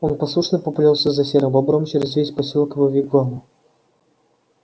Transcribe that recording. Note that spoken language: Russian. он послушно поплёлся за серым бобром через весь посёлок к его вигваму